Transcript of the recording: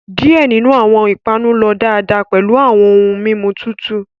Diẹ ninu awọn ipanu lọ daadaa pẹlu awọn ohun mimu tutu